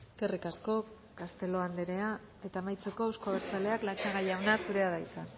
eskerrik asko castelo anderea eta amaitzeko euzko abertzaleak latxaga jauna zurea da hitza